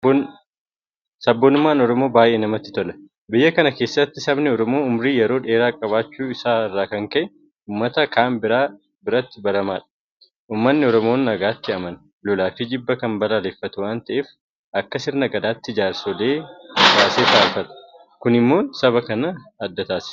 Sabboonummaan Oromoo baay'ee namatti tola. Biyya kana keessatti sabni Oromoo Ummurii yeroo dheeraa qabaachuu isaa irraa kan ka'e uummata kaan biratti baramaadha. Uummanni Oromoo nagaatti amana. Lolaafi jibba kan balaaleffatu waanta ta'eef akka sirna gadaatti jaarsa baasee furata. Kun immoo saba kana adda taasisa.